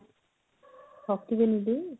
ଠକିବନି ଟି?